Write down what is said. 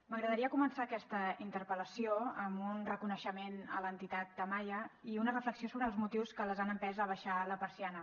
m’agradaria començar aquesta interpel·lació amb un reconeixement a l’entitat tamaia i una reflexió sobre els motius que les han empès a abaixar la persiana